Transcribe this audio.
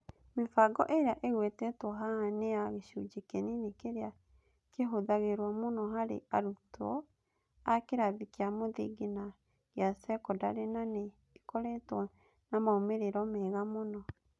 Mĩbango ĩrĩa ĩgwetetwo haha nĩ ya gĩcunjĩ kĩnini kĩrĩa kĩhũthagĩrũo mũno harĩ arutwo a kĩrathi kĩa mũthingi na gĩa sekondarĩ, na nĩ ĩkoretwo na moimĩrĩro mega mũno.